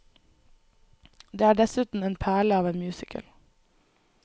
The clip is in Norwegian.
Det er dessuten en perle av en musical.